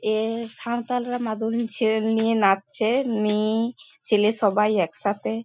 এ-এ সাঁওতালরা মাদলীর ছেড়েল নিয়ে নাচছে মেয়ে ছেলে সবাই একসাথে।